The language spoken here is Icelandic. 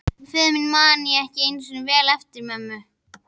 Föður mínum man ég ekki eins vel eftir og mömmu.